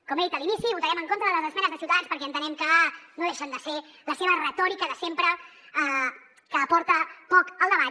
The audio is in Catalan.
com he dit a l’inici votarem en contra de les esmenes de ciutadans perquè entenem que no deixen de ser la seva retòrica de sempre que aporta poc al debat